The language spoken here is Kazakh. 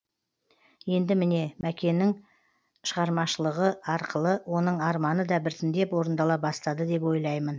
енді міне мәкенің шығармашылығы арқылы оның арманы да біртіндеп орындала бастады деп ойлаймын